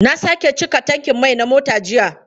Na sake cika tankin mai na mota jiya.